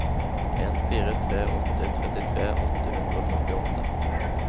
en fire tre åtte trettitre åtte hundre og førtiåtte